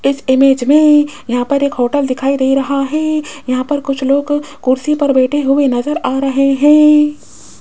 इस इमेज में यहां पर एक होटल दिखाई दे रहा है यहां पर कुछ लोग कुर्सी पे बैठे हुए नजर आ रहे हैं।